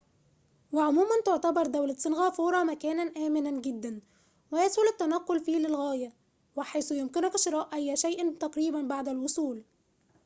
وعموماً تعتبر دولة سنغافورة مكاناً آمناً جداً ويسهل التنقّل فيه للغاية وحيث يمكنك شراء أي شيءٍ تقريباً بعد الوصول